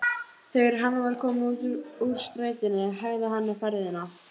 Þegar hann var kominn út úr strætinu hægði hann ferðina.